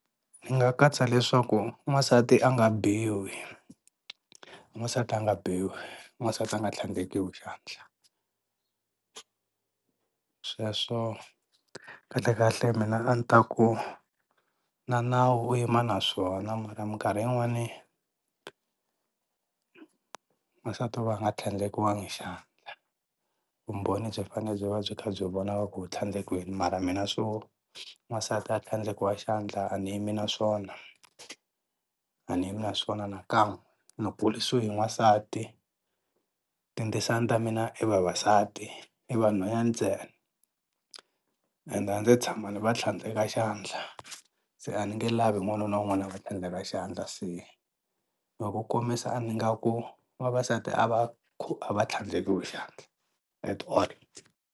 Nga katsa leswaku n'wansati a nga biwi n'wansati a nga biwi n'wansati a nga tlhandlekiwi xandla sweswo kahlekahle mina a ni ta ku na nawu u yima na swona mara minkarhi yin'wani n'wansati wo va a nga tlhandlekiwangi xandla vumbhoni byi fane byi va byi kha byi vonaka ku u tlhandlekiwini mara mina swo n'wansati a tlhandlekiwa xandla a ni yi mi na swona, a ni yimi na swona nakan'we ni kurisiwe hi n'wansati, tindzisana ta mina i vavasati i vanhwanyani ntsena and a ndzi se tshama ni va tlhandleka xandla se a ni nge lavi wanuna un'wana a va tlhandleka xandla se hi ku komisa ni nga ku vavasati a va a va tlhandlekiwi xandla at all.